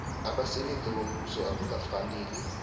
abasebenzi bombuso akukafaneli